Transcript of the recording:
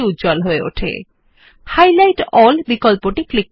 পূর্ববর্তী উপর ক্লিক করা হলে ফোকাস শব্দের পূর্ববর্তী উদাহরণ এর দিকে হবে